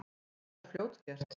Það er fljótgert.